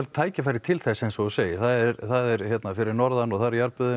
tækifæri til þess eins og þú segir það er fyrir norðan það eru